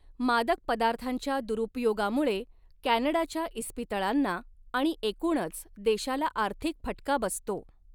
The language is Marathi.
मादक पदार्थांच्या दुरुपयोगामुळे कॅनडाच्या इस्पितळांना आणि एकूणच देशाला आर्थिक फटका बसतो.